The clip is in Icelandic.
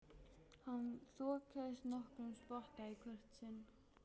Hann þokaðist nokkurn spotta í hvert sinn.